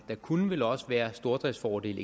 der kunne vel også være stordriftsfordele